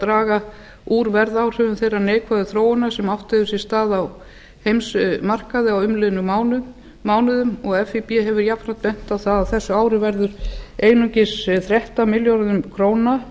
draga úr verðáhrifum þeirrar neikvæðu þróunar sem átt hefur sér stað á heimsmarkaði á umliðnum mánuðum og fíb hefur jafnframt bent á það að á þessu ári verður einungis þrettán milljörðum króna